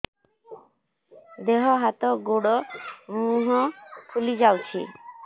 ଦେହ ହାତ ଗୋଡୋ ମୁହଁ ଫୁଲି ଯାଉଛି